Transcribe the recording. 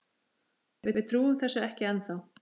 Við trúum þessu ekki ennþá.